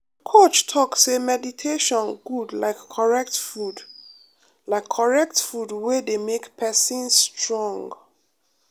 my coach talk say meditation good like correct food like correct food wey dey make person strong.